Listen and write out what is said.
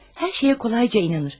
Hər şeyə kolayca inanır.